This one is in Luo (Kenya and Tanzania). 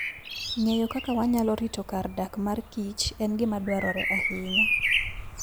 Ng'eyo kaka wanyalo rito kar dak mar kich en gima dwarore ahinya.